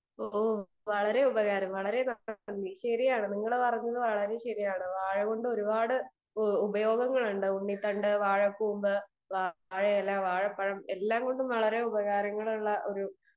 speaker 2 ഓഹ് വളരെ ഉപകാരം വളരെ നന്ദി ശരിയാണ് നിങ്ങൾ പറഞ്ഞത് വളരെ ശരിയാണ് വാഴ കൊണ്ട് ഒരുപാട് ഉപയോഗങ്ങൾ ഉണ്ട് ഉണ്ണി ത്തണ്ട് വാഴക്കൂമ്പ് വാഴയില വാഴപ്പഴം എല്ലാം കൊണ്ട് വളരെ ഉപകാരം ഉള്ള ഒരു